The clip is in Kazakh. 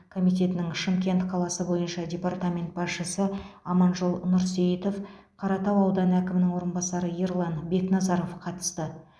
комитетінің шымкент қаласы бойынша департамент басшысы аманжол нұрсейітов қаратау ауданы әкімінің орынбасары ерлан бекназаров қатысты